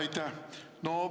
Aitäh!